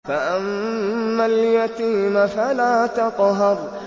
فَأَمَّا الْيَتِيمَ فَلَا تَقْهَرْ